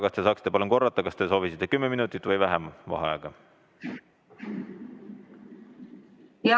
Kas te saaksite palun korrata, kas te soovisite kümme minutit või vähem vaheaega?